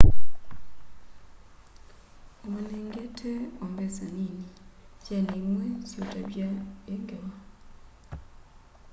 umanengete o mbesa nini syana imwe siutavya i ngewa